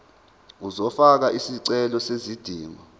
uzofaka isicelo sezidingo